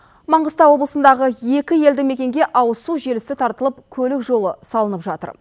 маңғыстау облысындағы екі елді мекенге ауыз су желісі тартылып көлік жолы салынып жатыр